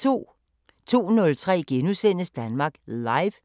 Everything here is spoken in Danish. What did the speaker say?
02:03: Danmark Live *